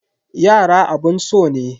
Yara abun so ne.